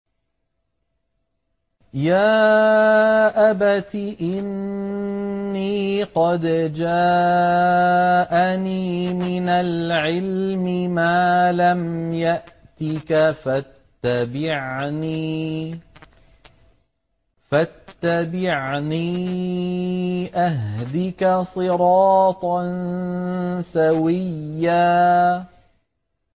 يَا أَبَتِ إِنِّي قَدْ جَاءَنِي مِنَ الْعِلْمِ مَا لَمْ يَأْتِكَ فَاتَّبِعْنِي أَهْدِكَ صِرَاطًا سَوِيًّا